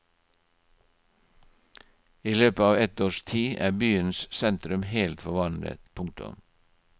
I løpet av ett års tid er byens sentrum helt forvandlet. punktum